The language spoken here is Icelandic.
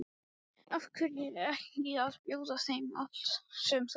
Af hverju ekki að bjóða þeim allt sem þú átt?